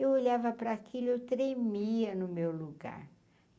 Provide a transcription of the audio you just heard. Eu olhava para aquele, eu treimia no meu lugar.